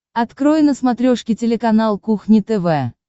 открой на смотрешке телеканал кухня тв